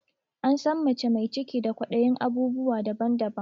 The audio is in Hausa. An san mace mai ciki da kwaɗayin abubuwa daban daban